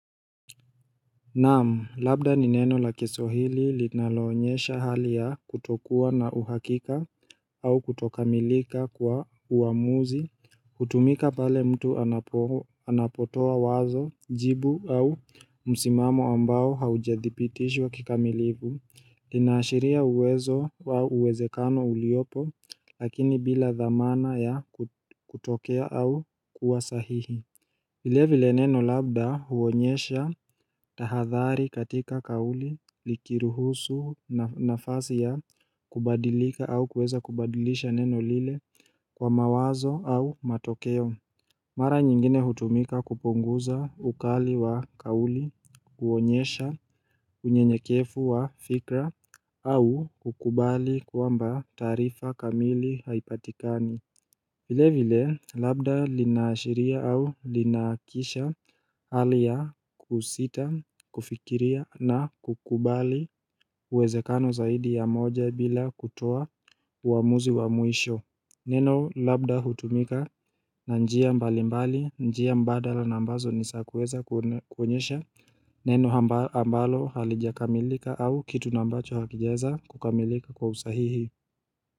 Naam, labda ni neno la kiswahili linaloonyesha hali ya kutokuwa na uhakika au kutokamilika kwa uamuzi, hutumika pale mtu anapotoa wazo jibu au msimamo ambao haujadhibitishwa kikamilivu, linaashiria uwezo wa uwezekano uliopo lakini bila dhamana ya kutokea au kuwa sahihi vile vile neno labda huonyesha tahathari katika kauli likiruhusu nafasi ya kubadilika au kuweza kubadilisha neno lile kwa mawazo au matokeo. Mara nyingine hutumika kupunguza ukali wa kauli, huonyesha unyenyekevu wa fikra au kukubali kwamba tarifa kamili haipatikani. Vile vile, labda linaashiria au linaakisha hali ya kusita, kufikiria na kukubali uwezekano zaidi ya moja bila kutoa uamuzi wa mwisho Neno labda hutumika na njia mbali mbali, njia mbadala na ambazo ni za kuweza kuonyesha Neno ambalo halijakamilika au kitu na ambacho hakijaeza kukamilika kwa usahihi.